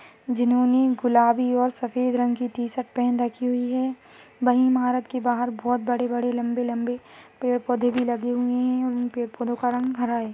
जिनहोने गुलाबी और सफेद रंग की टी-शर्ट पहन रखी हुई है वही इमारत के बहार बोहोत बड़े-बड़े लंबे-लंबे पेड़ पौधे भी लगे हुए है उनपे फूलों का रंग हरा है।